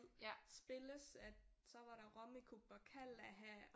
Spilles at så var der Rummikub og Kalaha